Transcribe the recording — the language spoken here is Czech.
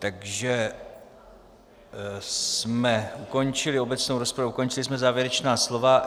Takže jsme ukončili obecnou rozpravu, ukončili jsme závěrečná slova.